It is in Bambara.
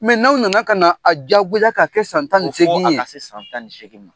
n'aw nana ka na a jagoya k'a kɛ san tan ni nseegin ye